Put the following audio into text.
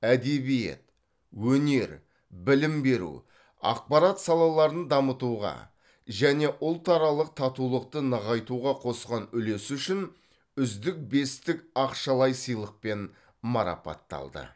әдебиет өнер білім беру ақпарат салаларын дамытуға және ұлтаралық татулықты нығайтуға қосқан үлесі үшін үздік бестік ақшалай сыйлықпен марапатталды